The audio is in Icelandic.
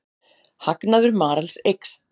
Hagnaður Marels eykst